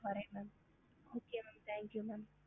ஹம்